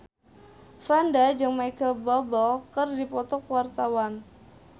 Franda jeung Micheal Bubble keur dipoto ku wartawan